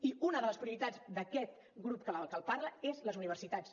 i una de les prioritats d’aquest grup que els parla són les universitats